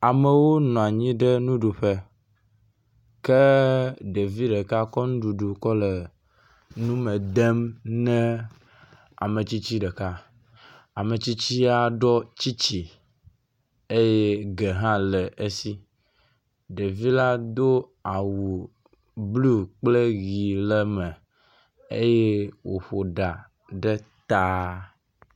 Amewo nɔ anyi ɖe nuɖuƒe. Ke ɖevi ɖeka kɔ nuɖuɖu kɔ le nu me dem ne ame tsitsi ɖeka ametsitsia ɖɔ tsitsi eye ge hã le esi. Ɖevi la do awu blɔ kple ʋi le eme eye woƒo ɖa ɖe ta.